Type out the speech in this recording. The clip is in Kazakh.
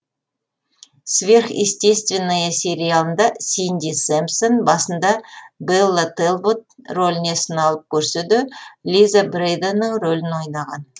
сверхъестественное сериалында синди сэмпсон басында бэлла тэлбот роліне сыналып көрсе де лиза брэйданның ролін ойнаған